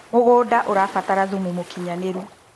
mũgũnda ũrabatara thumu mũũkĩnyanĩru